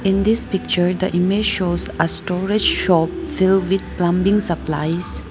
In this picture the image shows a storage shop fill with plumbing supplies.